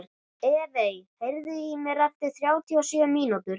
Evey, heyrðu í mér eftir þrjátíu og sjö mínútur.